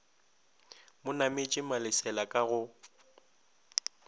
mo nametše malesela ka go